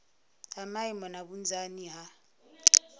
ha maimo na vhunzani ha